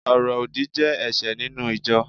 oro odi je ẹṣẹ ninu ijọ